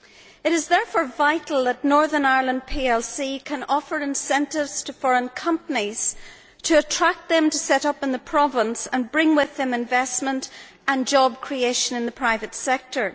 It is, therefore, vital that Northern Ireland PLC can offer incentives to foreign companies to attract them to set up in the province and to bring with them investment and job creation in the private sector.